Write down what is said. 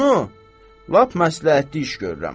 Bunu lap məsləhətli iş görürəm.